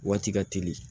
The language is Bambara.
Waati ka teli